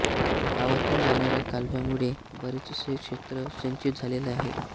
गावातून जाणाऱ्या कालव्यामुळे बरेचसे क्षेत्र सिंचित झालेले आहे